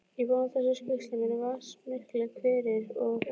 Í báðum þessum sýslum eru vatnsmiklir hverir, og er